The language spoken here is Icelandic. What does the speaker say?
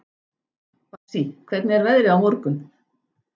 Bassí, hvernig er veðrið á morgun?